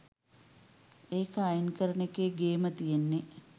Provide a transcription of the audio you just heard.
ඒක අයින් කරන එකේ ගේම තියෙන්නේ